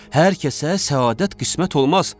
Hər kəsə səadət qismət olmaz.